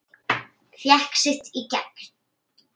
Fékk sitt í gegn.